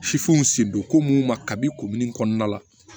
sen don ko mun ma kabi kun min kɔnɔna la